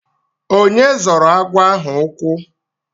Onye zọrọ agwọ ahụ ukwu?